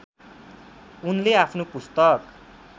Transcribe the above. उनले आफ्नो पुस्तक